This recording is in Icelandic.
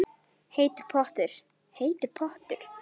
Heitur pottur, heitur pottur